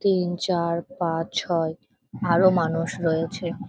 তিন চার পাঁচ ছয় আরো মানুষ রয়েছে।